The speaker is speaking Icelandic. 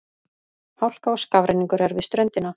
Hálka og skafrenningur er við ströndina